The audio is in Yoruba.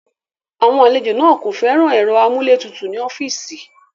Àwọn àlejò náà kò fẹ́ràn ẹ̀rọ amúlétutù ní ọ́fíìsì.